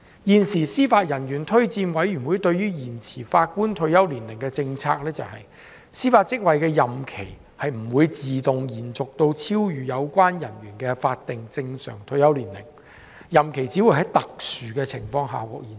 現時司法人員推薦委員會對於延遲法官退休年齡的政策是，司法職位的任期不應自動延續至超越有關人員的法定正常退休年齡，任期只會在特殊的情況下獲延續。